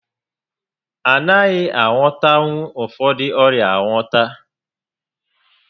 A naghị agwọtanwu ụfọdụ ọrịa agwọta